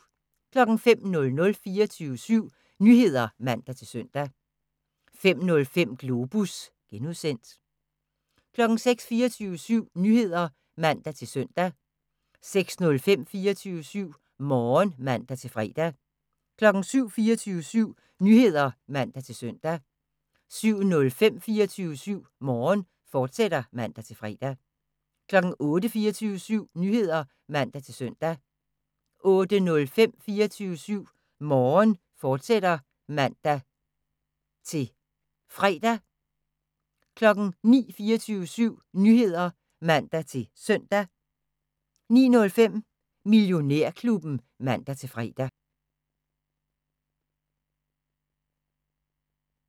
05:00: 24syv Nyheder (man-søn) 05:05: Globus (G) 06:00: 24syv Nyheder (man-søn) 06:05: 24syv Morgen (man-fre) 07:00: 24syv Nyheder (man-søn) 07:05: 24syv Morgen, fortsat (man-fre) 08:00: 24syv Nyheder (man-søn) 08:05: 24syv Morgen, fortsat (man-fre) 09:00: 24syv Nyheder (man-søn) 09:05: Millionærklubben (man-fre)